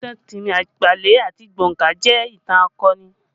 Ìtàn Timi Agbale àti Gbonka jẹ ìtàn akọni